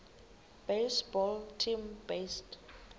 baseball team based